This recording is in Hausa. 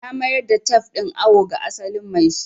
Na mayar da tef din awo ga asalin maishi